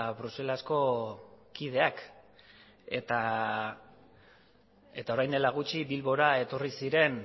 bruselako kideak eta orain dela gutxi bilbora